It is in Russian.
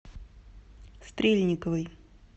стрельниковой